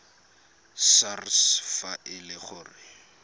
sars fa e le gore